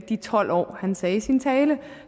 de tolv år han sagde i sin tale